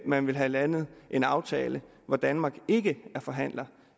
man vil have landet en aftale hvor danmark ikke er forhandler